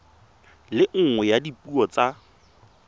le nngwe ya dipuo tsa